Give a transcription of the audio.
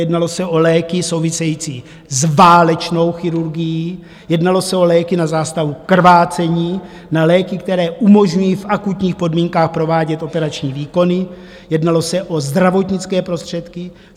Jednalo se o léky související s válečnou chirurgií, jednalo se o léky na zástavu krvácení, o léky, které umožňují v akutních podmínkách provádět operační výkony, jednalo se o zdravotnické prostředky.